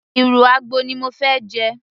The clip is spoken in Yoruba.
ìrù àgbò ni mo fẹ́ jẹ